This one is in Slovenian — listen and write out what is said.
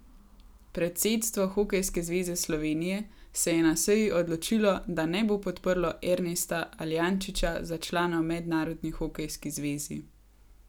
Predsedstvo Hokejske zveze Slovenije se je na seji odločilo, da ne bo podprlo Ernesta Aljančiča za člana v Mednarodni hokejski zvezi.